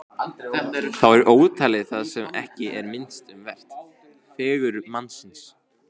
Þá er ótalið það sem ekki er minnst um vert: fegurð mannsins.